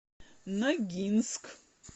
ногинск